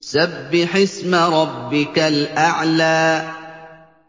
سَبِّحِ اسْمَ رَبِّكَ الْأَعْلَى